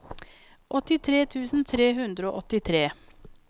åttitre tusen tre hundre og åttitre